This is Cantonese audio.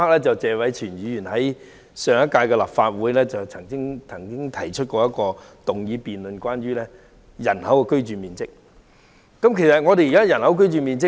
謝偉銓議員在上屆立法會會議上，曾經提出一項有關人均居住面積的議案辯論，令我印象很深刻。